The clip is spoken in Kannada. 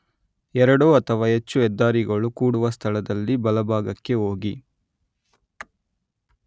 ಎರಡು ಅಥವಾ ಹೆಚ್ಚು ಹೆದ್ದಾರಿಗಳು ಕೂಡುವ ಸ್ಥಳದಲ್ಲಿ ಬಲಭಾಗಕ್ಕೆ ಹೋಗಿ